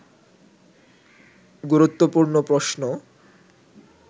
গুরুত্বপূর্ণ প্রশ্ন